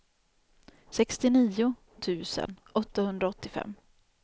sextionio tusen åttahundraåttiofem